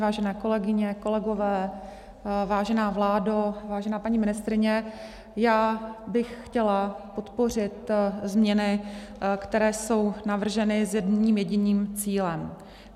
Vážené kolegyně, kolegové, vážená vládo, vážená paní ministryně, já bych chtěla podpořit změny, které jsou navrženy s jedním jediným cílem.